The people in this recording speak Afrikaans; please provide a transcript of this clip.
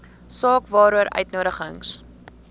saak waaroor uitnodigings